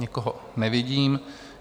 Nikoho nevidím.